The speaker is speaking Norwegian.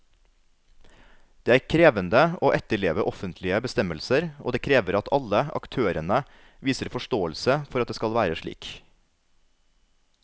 Det er krevende å etterleve offentlige bestemmelser, og det krever at alle aktørene viser forståelse for at det skal være slik.